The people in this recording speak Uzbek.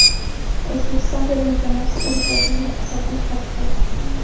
O‘zbekiston terma jamoasi Urugvayga yirik hisobda yutqazib qo‘ydi .